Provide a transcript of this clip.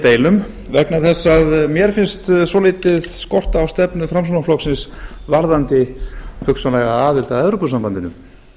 deilum vegna þess að mér finnst svolítið skorta á stefnu framsóknarflokksins varðandi hugsanlega aðild að evrópusambandinu